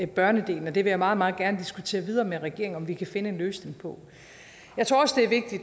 børnedelen og det vil jeg meget meget gerne diskutere videre med regeringen om vi kan finde en løsning på